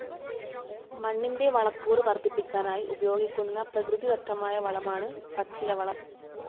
മണ്ണിൻ്റെ വളക്കൂറ് വർദ്ധിപ്പിക്കാനായി ഉപയോഗിക്കുന്ന പ്രകൃതിദത്തമായ വളമാണ് പച്ചിലവളം.